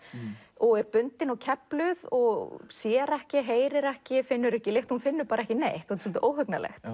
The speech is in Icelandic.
og er bundin og og sér ekki heyrir ekki finnur ekki lykt hún finnur ekki neitt svolítið óhugnanlegt